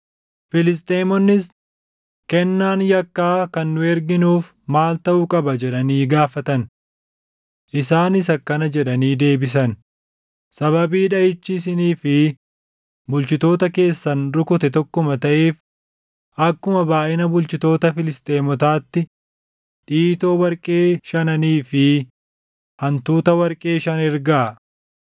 Filisxeemonnis, “Kennaan yakkaa kan nu erginuuf maal taʼuu qaba?” jedhanii gaafatan. Isaanis akkana jedhanii deebisan; “Sababii dhaʼichi isinii fi bulchitoota keessan rukute tokkuma taʼeef akkuma baayʼina bulchitoota Filisxeemotaatti dhiitoo warqee shananii fi hantuuta warqee shan ergaa.